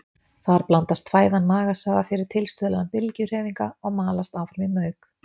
Þar blandast fæðan magasafa fyrir tilstuðlan bylgjuhreyfinga og malast áfram í mauk.